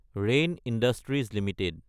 rain Industries Ltd